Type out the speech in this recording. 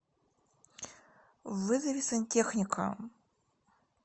вызови сантехника